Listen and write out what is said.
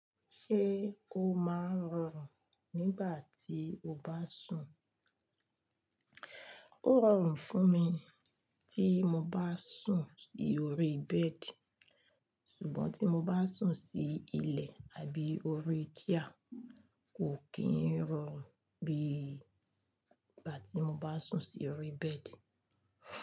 Ṣé o máa ń rọrùn nígbà tí o bá sùn? Ó rọrùn fún mi tí mo bá sùn sí orí bẹ́ẹ̀dì, ṣùgbọ́n tí mo bá sùn sí ilẹ̀ àbí orí chair kò kín rọrùn bí ìgbà tí mo bá sùn sí orí bẹ́ẹ̀dì.